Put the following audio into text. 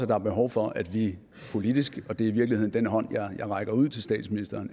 der er behov for at vi politisk og det er i virkeligheden den hånd jeg rækker ud til statsministeren